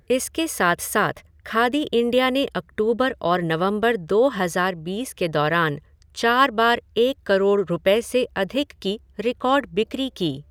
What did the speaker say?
इसके साथ साथ खादी इंडिया ने अक्टूबर और नवंबर दो हज़ार बीस के दौरान चार बार एक करोड़ रुपये से अधिक की रिकॉर्ड बिक्री की।